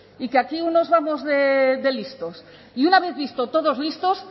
y que aquí unos vamos de listos y una vez visto todos listos